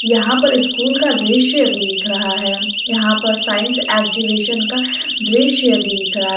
यहां पर स्कूल का दृश्य दिख रहा है यहां पर साइंस एग्जीबिशन का दृश्य दिख रहा है।